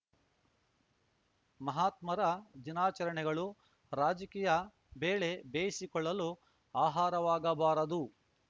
ಮಹಾತ್ಮರ ದಿನಾಚರಣೆಗಳು ರಾಜಕೀಯ ಬೇಳೆ ಬೇಯಿಸಿಕೊಳ್ಳಲು ಆಹಾರವಾಗಬಾರದು